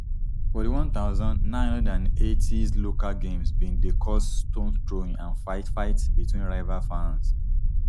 for di one thousand, nine hundred and eightys local games bin dey cause stone throwing and fight fight between rival fans